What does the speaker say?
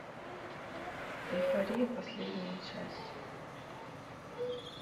эйфория последняя часть